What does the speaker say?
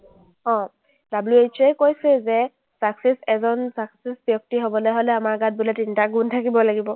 অ, WHO এ কৈছে যে success এজন success ব্যক্তি হ’বলৈ হ’লে আমাৰ গাত বোলে তিনিটা গুণ থাকিব লাগিব।